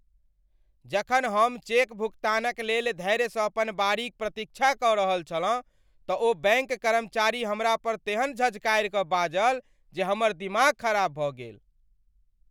जखन हम चेक भुगतानक लेल धैर्यसँ अपन बारीक प्रतीक्षा कऽ रहल छलहुँ तँ ओ बैँक कर्मचारी हमरापर तेन झझकारिकऽ बाजल जे हमर दिमाग खराब भऽ गेल।